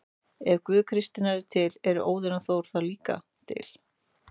Ef Guð kristninnar er til, eru Óðinn og Þór þá líka til?